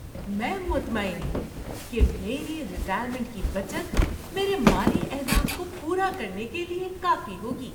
میں مطمئن ہوں کہ میری ریٹائرمنٹ کی بچت میرے مالی اہداف کو پورا کرنے کے لیے کافی ہوگی۔